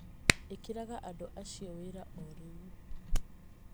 Ĩkĩraga andũ acio wĩra o rĩu